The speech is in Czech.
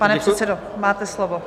Pane předsedo, máte slovo.